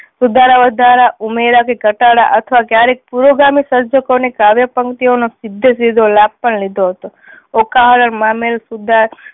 સુધારા વધારા ઉમેરા કે ઘટાડા અથવા ક્યારેક પૂર્વ ગામીક સર્જકો ની કાવ્ય પંકિતીઓ નો સીધે સીધો લાભ પણ લીધો હતો. ઓખા હરણ મામેરું સુધા